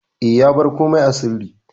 E, ya bar komai sirri.